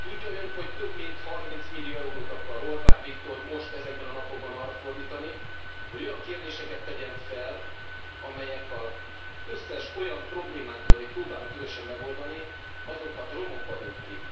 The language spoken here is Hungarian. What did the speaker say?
Tudja Ön, hogy több mint 30 millió eurót akar Orbán Viktor most, ezekben a napokban arra fordítani, hogy olyan kérdéseket tegyen fel, amelyek az összes olyan problémánkat, amit próbálunk közösen megoldani, azokat romokba dönti?